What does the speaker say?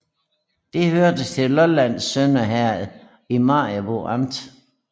Det hørte til Lollands Sønder Herred i Maribo Amt